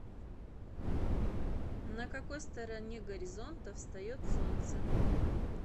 на какой стороне горизонта встает солнце